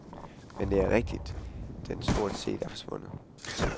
Men det er rigtigt, den stort set er forsvundet.